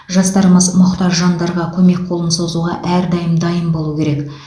жастарымыз мұқтаж жандарға көмек қолын созуға әрдайым дайын болуы керек